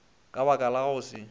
ka baka la go se